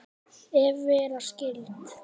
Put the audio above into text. Ef vera skyldi.